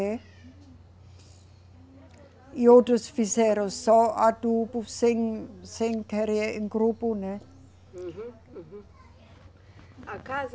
É. E outros fizeram só adubo, sem, sem querer, em grupo, né? Uhum, uhum. A casa